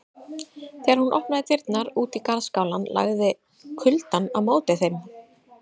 Þegar hún opnaði dyrnar út í garðskálann lagði kuldann á móti þeim.